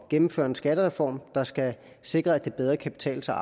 at gennemføre en skattereform der skal sikre at det bedre kan betale sig